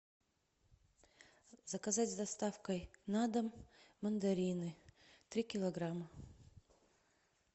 заказать с доставкой на дом мандарины три килограмма